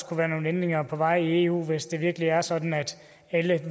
kunne være nogle indvendinger på vej i eu hvis det virkelig er sådan at alle